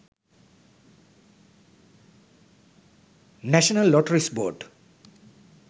national lotteries board